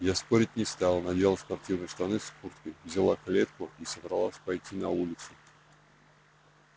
я спорить не стал надел спортивные штаны с курткой взяла клетку и собралась пойти на улицу